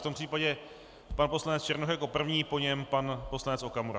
V tom případě pan poslanec Černoch jako první, po něm pan poslanec Okamura.